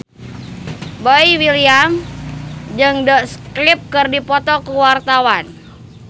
Boy William jeung The Script keur dipoto ku wartawan